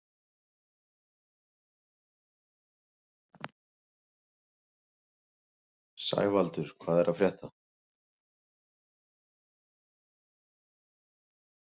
Sævaldur, hvað er að frétta?